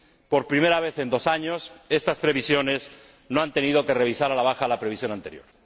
Por primera vez en dos años estas previsiones no han tenido que revisar a la baja la previsión anterior.